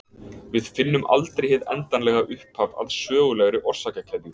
Við finnum aldrei hið endanlega upphaf að sögulegri orsakakeðju.